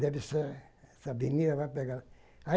Deve ser essa avenida, vai pegar.